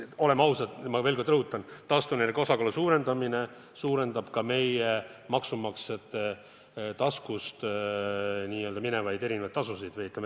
Oleme ausad, ma veel kord rõhutan: taastuvenergia osakaalu suurendamine suurendab ka meie maksumaksjate taskust võetavaid erinevaid tasusid.